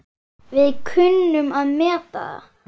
Við kunnum að meta það.